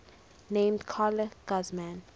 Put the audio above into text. named carla guzman